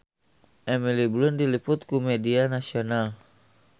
Emily Blunt diliput ku media nasional